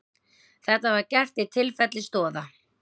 Þetta var gert í tilfelli Stoða